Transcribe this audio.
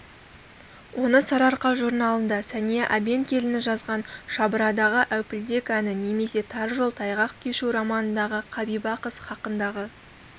оны сарыарқа журналында сәния әбенкеліні жазған шабырадағы әупілдек әні немесе тар жол тайғақ кешу романындағы қабиба қыз хақындағы